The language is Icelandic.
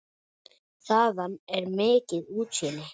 Þaðan er mikið útsýni.